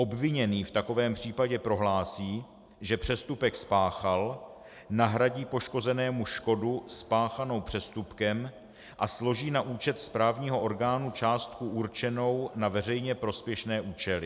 Obviněný v takovém případě prohlásí, že přestupek spáchal, nahradí poškozenému škodu spáchanou přestupkem a složí na účet správního orgánu částku určenou na veřejně prospěšné účely.